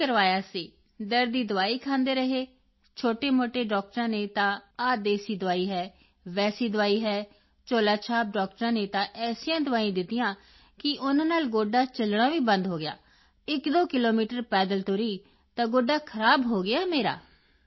ਨਹੀਂ ਕਰਵਾਇਆ ਸੀ ਦਰਦ ਦੀ ਦਵਾਈ ਖਾਂਦੇ ਰਹੇ ਛੋਟੇਮੋਟੇ ਡਾਕਟਰਾਂ ਨੇ ਤਾਂ ਆਹ ਦੇਸੀ ਦਵਾਈ ਹੈ ਵੈਸੀ ਦਵਾਈ ਹੈ ਝੋਲਾ ਛਾਪ ਡਾਕਟਰਾਂ ਨੇ ਤਾਂ ਐਸੀਆਂ ਦਵਾਈਆਂ ਦਿੱਤੀਆਂ ਕਿ ਉਨ੍ਹਾਂ ਨਾਲ ਗੋਡਾ ਚਲਣਾ ਵੀ ਬੰਦ ਹੋ ਗਿਆ ਖਰਾਬ ਹੋ ਗਿਆ 12 ਕਿਲੋਮੀਟਰ ਪੈਦਲ ਤੁਰੀ ਤਾਂ ਗੋਡਾ ਖਰਾਬ ਹੋ ਗਿਆ ਮੇਰਾ